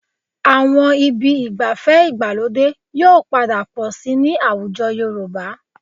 Àwọn ibi ìgbafẹ́ ìgbàlódé yóò padà pọ̀ síi ní àwùjọ Yorùbá